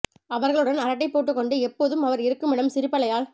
அவர்களுடன் அரட்டை போட்டுக் கொண்டு எப்போதும் அவர் இருக்கும் இடம் சிரிப்பலையால்